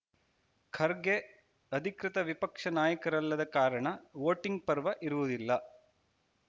ಖರ್ಗೆ ಅಧಿಕೃತ ವಿಪಕ್ಷ ನಾಯಕರಲ್ಲದ ಕಾರಣ ವೋಟಿಂಗ್‌ ಪರ್ವ ಇರುವುದಿಲ್ಲ